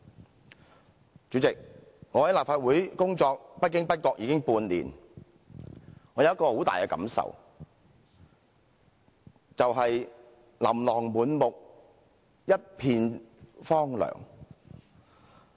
代理主席，我在立法會工作不經不覺已經半年，我有一種很深的感受，便是"琳琅滿目，一片荒涼"。